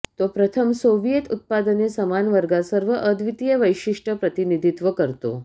तो प्रथम सोव्हिएत उत्पादने समान वर्गात सर्व अद्वितीय वैशिष्ट्य प्रतिनिधित्व करतो